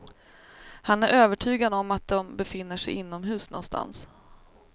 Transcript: Han är övertygad om att de befinner sig inomhus någonstans.